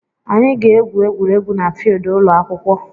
Anyị ga-egwu egwuregwu na filidi ụlọ akwụkwọ.